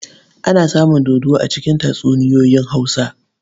Ana samun dodo a cikin tatsuniyoyin Hausa.